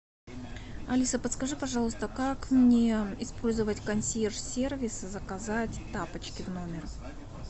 алиса подскажи пожалуйста как мне использовать консьерж сервис заказать тапочки в номер